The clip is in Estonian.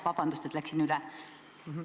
Vabandust, et läksin ajast üle!